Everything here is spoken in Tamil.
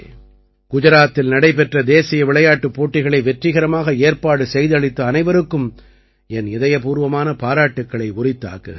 குஜராத்தில் நடைபெற்ற தேசிய விளையாட்டுப் போட்டிகளை வெற்றிகரமாக ஏற்பாடு செய்தளித்த அனைவருக்கும் என் இதயபூர்வமான பாராட்டுக்களை உரித்தாக்குகிறேன்